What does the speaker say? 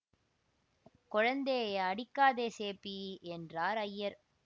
கொழந்தேயெ அடிக்காதே சேப்பி என்றார் ஐயர்